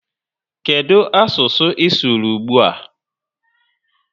Kedụ asụsụ ị sụrụ ugbua?